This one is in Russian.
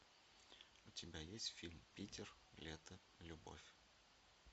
у тебя есть фильм питер лето любовь